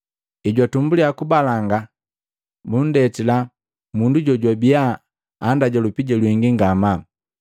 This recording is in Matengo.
Hejwatumbuliya kubalanga bunndetila mundu jojwabia anndaja lupija lwingi ngamaa.